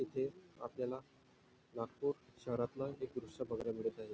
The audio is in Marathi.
इथे आपल्याला नागपूर शहरातला हे दृश्य बघायला मिळत आहे.